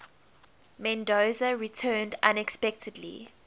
mendoza returned unexpectedly